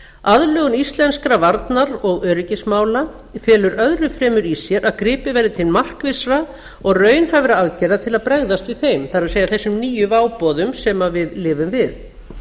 aðlögun íslenskra varnar og öryggismála felur öðru fremur í sér að gripið verður til markvissra og raunhæfra aðgerða til að bregðast við þeim það er þessum nýju váboðum sem við lifum við